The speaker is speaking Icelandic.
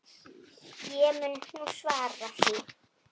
Ég mun nú svara því.